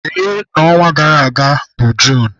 Dee na ọnwa gara aga bụ Juun!